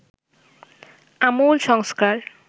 আমূল সংস্কার